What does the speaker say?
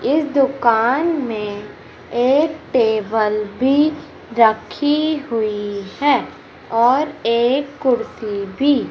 इस दुकान में एक टेबल भी रखी हुई है और एक कुर्सी भी--